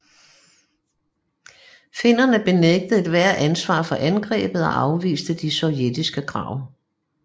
Finnerne benægtede ethvert ansvar for angrebet og afviste de sovjetiske krav